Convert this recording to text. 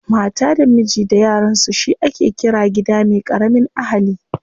Mata da miji da yaransu shi ake ƙira gida me ƙaramin ahali.